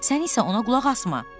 Sən isə ona qulaq asma.